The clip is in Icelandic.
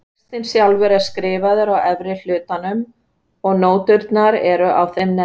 Textinn sjálfur er skrifaður á efri hlutanum og nóturnar á þeim neðri.